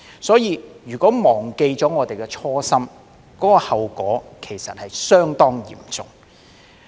因此，如果我們忘記了初心，後果其實會相當嚴重。